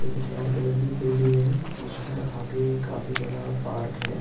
एक red colour की building है उसके आगे काफी बड़ा पार्क है जिस--